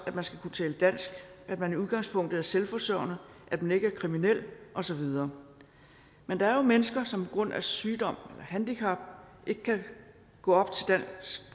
at man skal kunne tale dansk at man i udgangspunktet er selvforsørgende at man ikke er kriminel og så videre men der er jo mennesker som på grund af sygdom eller handicap ikke kan gå